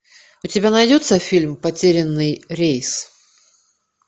у тебя найдется фильм потерянный рейс